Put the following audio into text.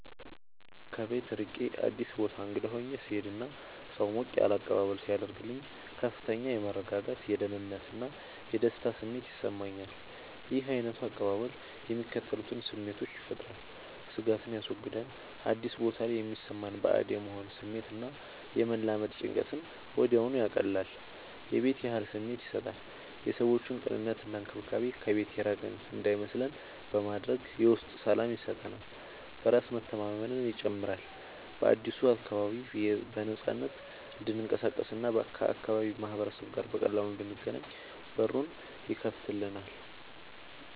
ከቤት ርቄ አዲስ ቦታ እንግዳ ሆኜ ስሄድ እና ሰው ሞቅ ያለ አቀባበል ሲያደርግልኝ ከፍተኛ የመረጋጋት፣ የደህንነት እና የደስታ ስሜት ይሰማኛል። ይህ ዓይነቱ አቀባበል የሚከተሉትን ስሜቶች ይፈጥራል፦ ስጋትን ያስወግዳል፦ አዲስ ቦታ ላይ የሚሰማንን ባዕድ የመሆን ስሜት እና የመላመድ ጭንቀትን ወዲያውኑ ያቀልላል። የቤት ያህል ስሜት ይሰጣል፦ የሰዎቹ ቅንነት እና እንክብካቤ ከቤት የራቅን እንዳይመስለን በማድረግ የውስጥ ሰላም ይሰጠናል። በራስ መተማመንን ይጨምራል፦ በአዲሱ አካባቢ በነፃነት እንድንቀሳቀስ እና ከአካባቢው ማህበረሰብ ጋር በቀላሉ እንድንገናኝ በሩን ይከፍትልናል።